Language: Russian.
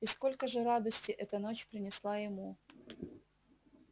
и сколько же радости эта ночь принесла ему